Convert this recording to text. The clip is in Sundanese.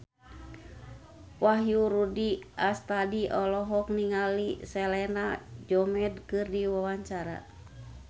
Wahyu Rudi Astadi olohok ningali Selena Gomez keur diwawancara